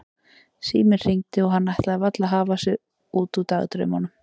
Síminn hringdi og hann ætlaði varla að hafa sig út úr dagdraumunum.